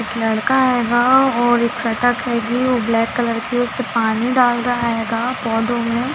एक लड़का हैगा और एक साइकल खरीदी हैगा ब्लैक कलर के उसमे पानी डाल रहा हैगा पौधों में--